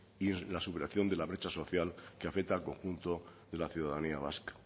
y la superación de la brecha social que afecta al conjunto de la ciudadanía vasca